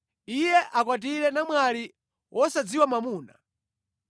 “ ‘Iye akwatire namwali wosadziwa mwamuna.